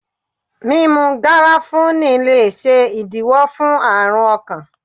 Mímú garafuni le ṣe ìdíwó fún àrùn ọkàn.